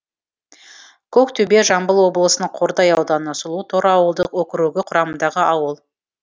көктөбе жамбыл облысының қордай ауданы сұлуторы ауылдық округі құрамындағы ауыл